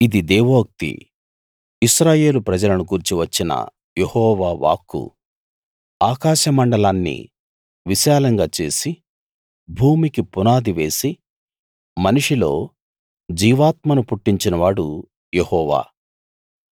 ఇది దేవోక్తి ఇశ్రాయేలు ప్రజలను గూర్చి వచ్చిన యెహోవా వాక్కు ఆకాశమండలాన్ని విశాలంగా చేసి భూమికి పునాది వేసి మనిషిలో జీవాత్మను పుట్టించినవాడు యెహోవా